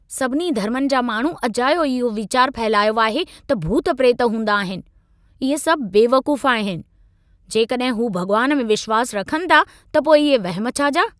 सभिनी धर्मनि जा माण्हू अजायो इहो वीचार फहिलायो आहे त भूत-प्रेत हूंदा आहिनि। इहे सभु बेवकूफ़ आहिनि। जेकॾहिं हू भॻुवान में विश्वास रखनि था त पोइ इहे वहिम छा जा?